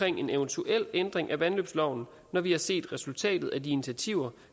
en eventuel ændring af vandløbsloven når vi har set resultatet af de initiativer